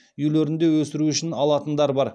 үйлерінде өсіру үшін алатындар бар